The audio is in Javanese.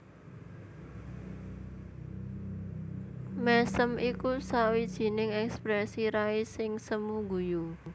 Mèsem iku sawijining èksprèsi rai sing semu guyu